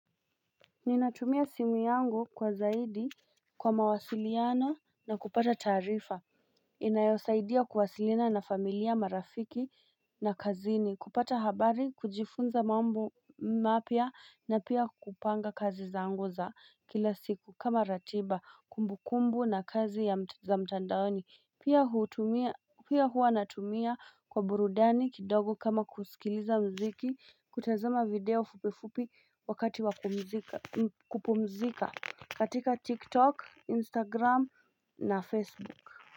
Ninatumia simu yangu kwa zaidi kwa mawasiliano na kupata taarifa inayosaidia kuwasilina na familia marafiki na kazini kupata habari kujifunza mambo mapya na pia kupanga kazi zangu za kila siku kama ratiba kumbu kumbu na kazi za mtandaoni Pia hua natumia kwa burudani kidogo kama kusikiliza mziki kutazama video fupifupi wakati wa kupumzika katika TikTok, Instagram na Facebook.